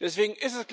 Deswegen ist es